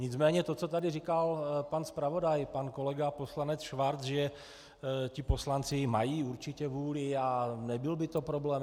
Nicméně to, co tady říkal pan zpravodaj pan kolega poslanec Schwarz, že ti poslanci mají určitě vůli a nebyl by to problém.